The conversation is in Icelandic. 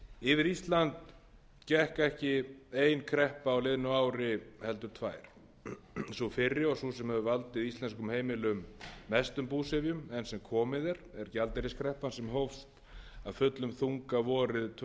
yfir ísland gekk ekki ein kreppa á liðnu ári heldur tvær sú fyrri og sú sem hefur valdið íslenskum heimilum mestum búsifjum enn sem komið er er gjaldeyriskreppan sem hófst af fullum þunga vorið tvö